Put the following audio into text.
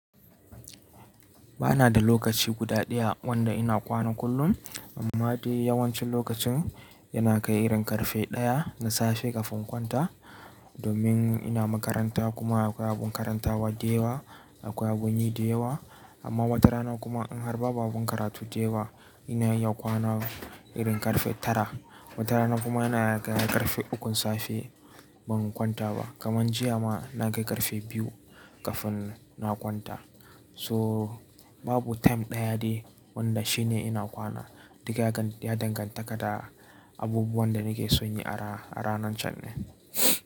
Ba na da lokaci guda ɗaya wanda ina kwana kullum. Amma dai yawancin lokacin yana kai irin ƙarfe daya na safe kafin in kwanta. Domin ina makaranta kuma akwai abun karantawa da yawa, akwai abun yi da yawa. Amma watarana kuma in har ba babu karatu da yawa, ina iya kwana irin ƙarfe tara. Watarana kuma yana kai ƙarfe ukun safe ban kwanta ba. Kamar jiya ma na kai ƙarfe biyu kafin na kwanta. So babu time ɗaya ne wanda shi ne ina kwana. Duk ya danganta da abubuwan da nake son yi a ranan can ne.